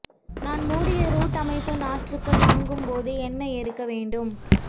நான் மூடிய ரூட் அமைப்பு நாற்றுகள் வாங்கும் போது என்ன இருக்க வேண்டும்